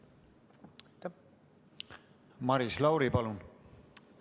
Maris Lauri, palun!